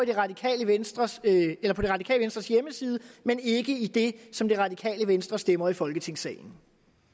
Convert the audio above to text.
det radikale venstres hjemmeside men ikke i det som det radikale venstre stemmer i folketingssalen